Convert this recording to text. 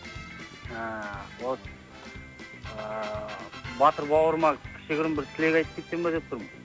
ыыы вот ыыы батыр бауырыма кішігірім бір тілек айтып кетсем ба деп тұрмын